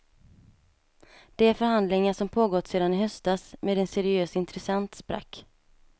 De förhandlingar som pågått sedan i höstas med en seriös intressent sprack.